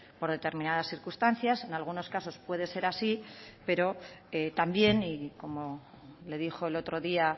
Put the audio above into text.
por determinadas circunstancias en algunos casos puede ser así pero también y como le dijo el otro día